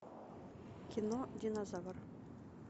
кино динозавр